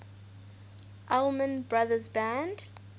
allman brothers band